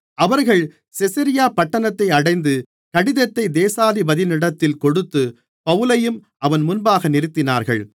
அவர்கள் செசரியா பட்டணத்தை அடைந்து கடிதத்தை தேசாதிபதியினிடத்தில் கொடுத்து பவுலையும் அவன் முன்பாக நிறுத்தினார்கள்